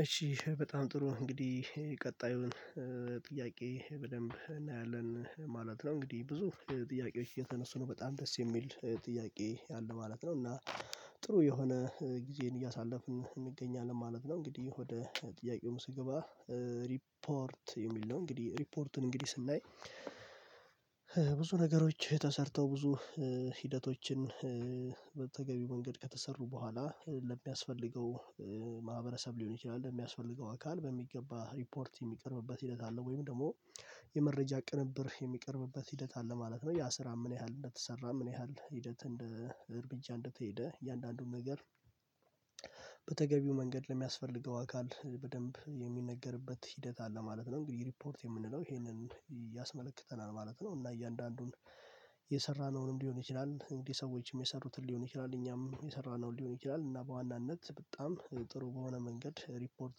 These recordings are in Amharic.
እሺ በጣም ጥሩ እንግዲህ ቀጣዩን ጥያቄ በደንብ እናያለን ማለት ነው። እንግዲህ ብዙ ጥያቄዎች እየተነሱ ነው በጣም ደስ የሚል ጥያቄ አለ ማለት ነው እና ጥሩ የሆነ ጊዜን እያሳለፍን እንገኛለን ማለት ነው። እንግዲህ ወደ ጥያቄው ስገባ ሪፖርት የሚል ነው እንግዲህ ሪፖርቱን እንግዲህ ስናይ። ብዙ ነገሮች ተሰርተው ብዙ ሂደቶችን በተገቢው መንገድ ከተሰሩ በኋላ ለሚያስፈልገው ማህበረሰብ ሊሆን ይችላል ለሚያስፈልገው አካል በሚገባ ሪፖርት የሚቀርብበት ሂደት አለ ወይም ደግሞ የመረጃ ቅንብር የሚቀርብበት ሂደት አለ ማለት ነው። ያ ስራ ምን ያህል እንደተሰራ ምን ያህል ሂደት እንደ እርብጃ እንደተሄደ እያንዳንዱን ነገር በተገቢው መንገድ ለሚያስፈልገው አካል በደንብ የሚነገርበት ሂደት አለ ማለት ነው። እንግዲህ ሪፖርት የምንለው ይሄንን ያስመልክተናል ማለት ነው። እና እያንዳንዱን የሰራነውንም ሊሆን ይችላል እንግዲህ ሰዎችም የሰሩትን ሊሆን ይችላል እኛም የሰራነው ሊሆን ይችላል እና በዋናነት በጣም ጥሩ በሆነ መንገድ ሪፖርት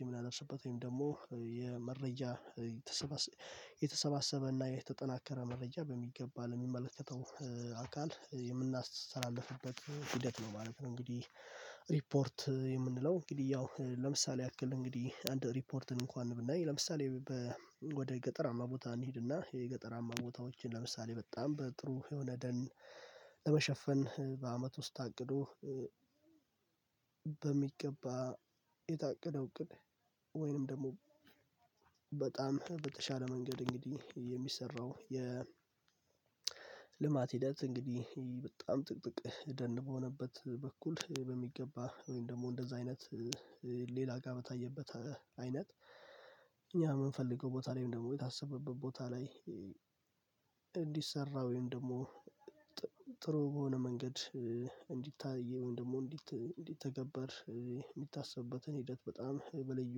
የምናደስበት ወይም ደግሞ የመረጃ የተሰባሰበና እና የተጠናከረ መረጃ በሚገባ ለሚመለከተው አካል የምናስተላልፍበት ሂደት ነው ማለት ነው። እንግዲህ ሪፖርት የምንለው እንግዲህ ያው ለምሳሌ ያክል እንግዲህ አንድ ሪፖርትን እንኳን ብናይ ለምሳሌ ወደ ገጠራማ ቦታ እንሂድና የገጠራማ ቦታዎችን ለምሳሌ በጣም በጥሩ የሆነ ደን ለመሸፈን በአመት ውስጥ ታቅዶ በሚገባ የታቀደው እቅድ ወይንም ደግሞ በጣም በተሻለ መንገድ እንግዲህ የሚሰራው የ ልማት ሂደት እንግዲህ በጣም ጥቅጥቅ ደን በሆነበት በኩል በሚገባ ወይም ደግሞ እንደዛ አይነት ሌላ ጋር በታየበት አይነት እኛ በምንፈልገው ቦታ ላይ ወይም ደግሞ የታሰበበት ቦታ ላይ እንዲሰራ ወይም ደግሞ ጥሩ በሆነ መንገድ እንዲታይ ወይም ደግሞ እንዲተገበር የሚታሰብበትን ሂደት በጣም በልዩ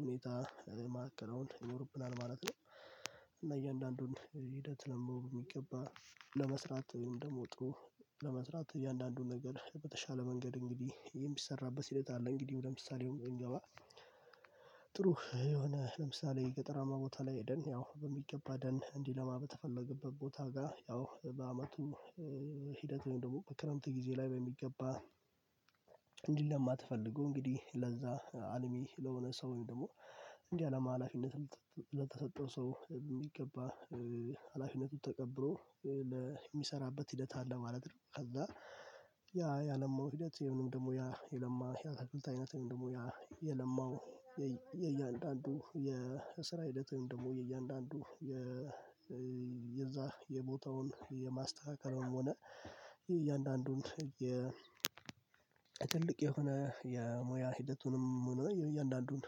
ሁኔታ ማከናወን ይኖርብናል ማለት ነው። እና እያንዳንዱን ሂደት ደግሞ በሚገባ ለመስራት ወይም ደግሞ ጥሩ ለመስራት እያንዳንዱን ነገር በተሻለ መንገድ እንግዲህ የሚሰራበት ሂደት አለ። እንግዲህ ወደ ምሳሌው ስንገባ ጥሩ የሆነ ለምሳሌ ገጠራማ ቦታ ላይ ሄደን ያው በሚገባ ደን እንዲለማ በተፈለገበት ቦታ ጋር ያው በአመቱ ሂደት ወይም ደግሞ በክረምት ጊዜ ላይ በሚገባ እንዲለማ ተፈልጎ እንግዲህ ለዛ አልሚ ለሆነ ሰው ወይም ደግሞ እንዲያለማ አለማላፊነት ለተሰጠው ሰው በሚገባ ሃላፊነቱ ተቀብሎ የሚሰራበት ሂደት አለ ማለት ነው። ከዛ ያ ያለማው ሂደት ወይንም ደግሞ ያየለማ የአትክልት አይነት ወይንም ደግሞ ያለማው የእያንዳንዱ የስራ ሂደት ወይም ደግሞ የእያንዳንዱ የዛ የቦታውን የማስተካከልም ሆነ የእያንዳንዱን የ ትልቅ የሆነ የሙያ ሂደቱንም ሆነ የእያንዳንዱን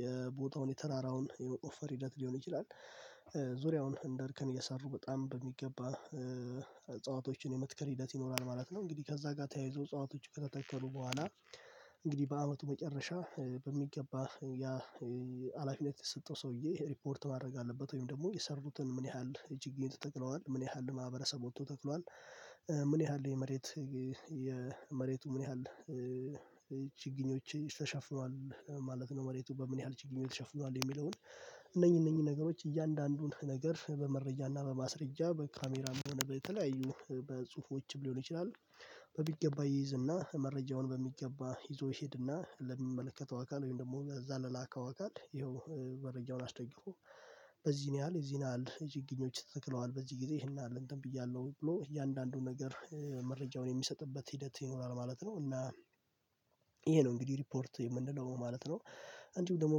የቦታውን የተራራውን የመቆፈር ሂደት ሊሆን ይችላል ዙሪያውን እንደርከን እየሰሩ በጣም በሚገባ እጸዋቶችን የመትከል ሂደት ይኖራል ማለት ነው። እንግዲህ ከዛ ጋር ተያይዞ ጸዋቶች ከተተከሉ በኋላ እንግዲህ በአመቱ መጨረሻ በሚገባ ያ ሀላፊነት የሰተሰጠው ሰውዬ ሪፖርት ማድረግ አለበት ወይም ደግሞ የሰሩትን ምን ያህል ችግኞች ተተክለዋል ምን ያህል ማህበረሰብ ወጥቶ ተክሏል ምን ያህል የመሬት የመሬቱ ምን ያህል ችግኞችን ተሸፍኗል ማለት ነው። መሬቱ በምን ያህል ችግኞች ተሸፍኗል የሚለውን እነዚህ እነዚህ ነገሮች እያንዳንዱን ነገር በመረጃ እና በማስረጃ በካሜራም ሆነ በተለያዩ በጽሁፎችም ሊሆን ይችላል በሚገባ ይይዝና መረጃውን በሚገባ ይዞ ይሄድና ለሚመለከተው አካል ወይም ደግሞ ለዛ ለላከው አካል ይኸው መረጃውን አስደግፎ በዚህን ያህል የዚህን ያህል ችግኞች ተተክለዋል በዚህ ጊዜ ይሄን ያህለ እንትን ብያለሁ ብሎ እያንዳንዱን ነገር መረጃውን የሚሰጥበት ሂደት ይኖራል ማለት ነው። እና ይሄ ነው እንግዲህ ሪፖርት የምንለው ማለት ነው። እንዲሁም ደግሞ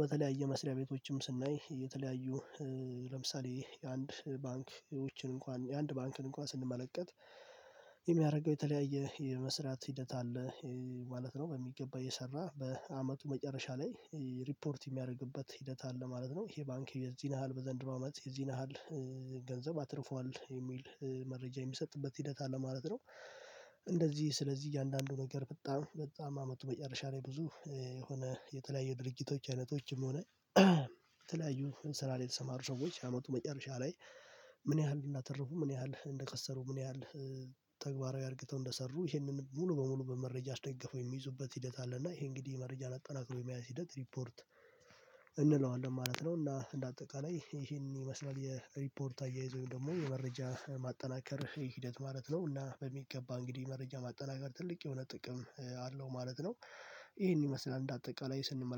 በተለያየ መስሪያ ቤቶችም ስናይ የተለያዩ ለምሳሌ የአንድ ባንክ ውችን እንኳን የአንድ ባንክን እንኳን ስንመለከት የሚያደርገው የተለያየ የመስራት ሂደት አለ ማለት ነው በሚገባ የሰራ በአመቱ መጨረሻ ላይ ሪፖርት የሚያደርግበት ሂደት አለ ማለት ነው። ይሄ ባንክ የዚህን ያሀል በዘንድሮ አመት የዚህን ነ ያሀል ገንዘብ አትርፏል የሚል መረጃ የሚሰጥበት ሂደት አለ ማለት ነው። እንደዚህ ስለዚህ እያንዳንዱ ነገር በጣም በጣም አመቱ መጨረሻ ላይ ብዙ የሆነ የተለያዩ ድርጅቶች አይነቶችም ሆነ የተለያዩ ስራ ላይ የተሰማሩ ሰዎች ያመቱ መጨረሻ ላይ ምን ያህል እንደተረፉ ምን ያህል እንደከሰሩ ምን ያህል ተግባራዊ አርግተው እንደሰሩ ይህንን ሙሉ በሙሉ በመረጃ አስደግፎ የሚይዙበት ሂደት አለ እና ይሄ እንግዲህ መረጃን አጠናክሮ የመያዝ ሂደት ሪፖርት እንለዋለን ማለት ነው። እና እንደ አጠቃላይ ይሄንን የመስላል የሪፖርት አያያዝ ወይም ደግሞ የመረጃ ማጠናከር ሂደት ማለት ነው እና በሚገባ እንግዲህ መረጃ ማጠናከር ትልቅ የሆነ ጥቅም አለው ማለት ነው። ይሄን ይመስላል እንደ አጠቃላይ ስንመለከት